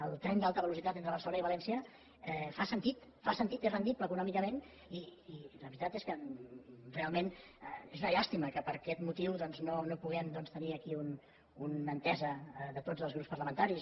el tren d’alta velocitat entre barcelona i valència fa sentit fa sentit és rendible econòmicament i la veritat és que realment és una llàstima que per aquest motiu doncs no puguem tenir aquí una entesa de tots els grups parlamentaris